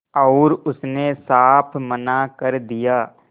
और उसने साफ मना कर दिया